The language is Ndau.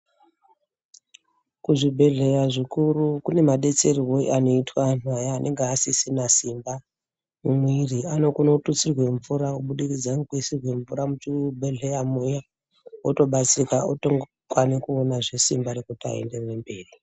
Kuzvibhedhlera zvikuru kune madetsererwe anoitwa antu aya anenge asisina simba mumwiiri anokone kututsirwa mvura kubudikidza ngokuisirwa mvura muchibhedhlera muya otobatsirika otokwanisa kuonazve simba rekuti aenderere mberi.